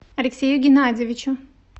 алексею геннадьевичу